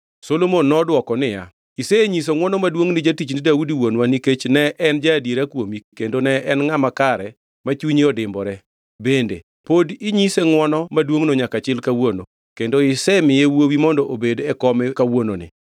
Solomon nodwoko niya, “Isenyiso ngʼwono maduongʼ ni jatichni Daudi wuonwa nikech ne en ja-adiera kuomi kendo ne en ngʼama kare ma chunye odimbore. Bende pod inyise ngʼwono maduongʼno nyaka chil kawuono kendo isemiye wuowi mondo obedi e kome kawuononi.